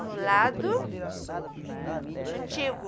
No lado antigo.